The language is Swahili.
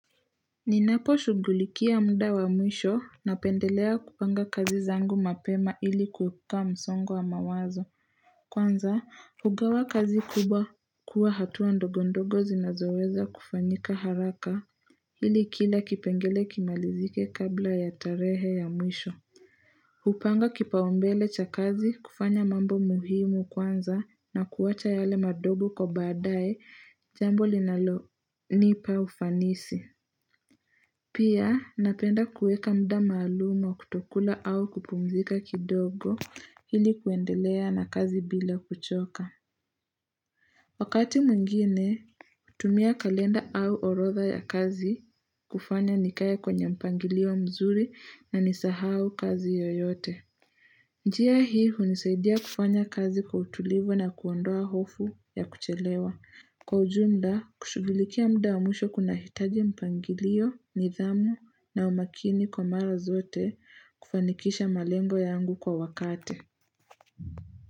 Ninapo shughulikia muda wa mwisho napendelea kupanga kazi zangu mapema ili kuepuka msongo wa mawazo Kwanza hugawa kazi kubwa kwa hatua ndogo ndogo zinazoweza kufanyika haraka hili kila kipengele kimalizike kabla ya tarehe ya mwisho hupanga kipaombele cha kazi kufanya mambo muhimu kwanza na kuwacha yale madogo kwa baadae jambo linalo nipa ufanisi Pia napenda kueka muda maalum wa kutokula au kupumzika kidogo hili kuendelea na kazi bila kuchoka. Wakati mwingine, hutumia kalenda au orodha ya kazi kufanya nikaya kwenye mpangilio mzuri na nisahau kazi yoyote. Njia hii hunisaidia kufanya kazi kwa utulivu na kuondoa hofu ya kuchelewa. Kwa ujumla, kushughulikia muda wa mwisho kuna hitaji mpangilio, nidhamu na umakini kwa mara zote kufanikisha malengo yangu kwa wakati.